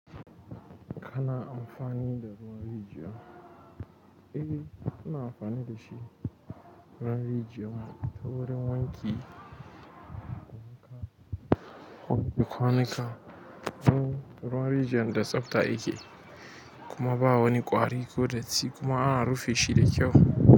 Kana amfani da ruwan rijiya? Eh, muna amfani da shi ruwan rijiya ta wurin wanki, kwanuka ruwan rijiyan da tsafta yake kuma ba wani ƙwari ko datti kuma ana rufe shi da kyau.